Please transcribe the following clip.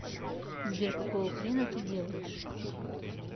сбер какого хрена ты делаешь